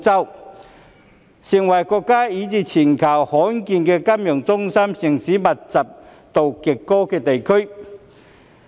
大灣區成為國家以至全球罕見金融中心城市極高度密集的地區。